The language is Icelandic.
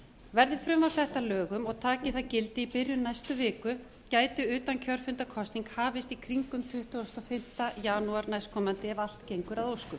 verði frumvarp þetta að lögum og taki þau gildi í byrjun næstu viku gæti utankjörfundarkosning hafist í kringum tuttugasta og fimmta janúar næstkomandi ef allt gengur að óskum